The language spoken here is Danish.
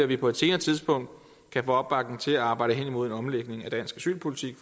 vi på et senere tidspunkt kan få opbakning til at arbejde hen imod en omlægning af dansk asylpolitik